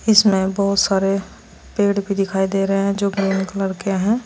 इसमें बहुत सारे पेड़ भी दिखाई दे रहे हैं जो ग्रीन कलर के है।